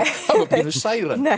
pínu særandi ég